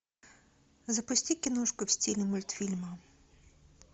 запусти киношку в стиле мультфильма